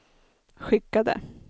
skickade